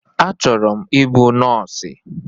A chọrọ m ịbụ nọsi